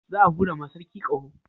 Za a hura ma sarki ƙaho